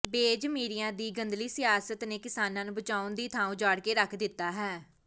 ਬੇਜ਼ਮੀਰਿਆਂ ਦੀ ਗੰਧਲੀ ਸਿਆਸਤ ਨੇ ਕਿਸਾਨਾਂ ਨੂੰ ਬਚਾਉਣ ਦੀ ਥਾਂ ਉਜਾੜ ਕੇ ਰੱਖ ਦਿਤਾ ਹੈ